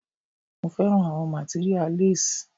Mo fẹ́ràn àwọn materia less.